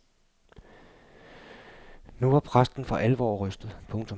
Nu var præsten for alvor rystet. punktum